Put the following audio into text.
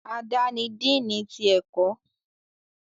Ada ní Dínni tí ẹkọ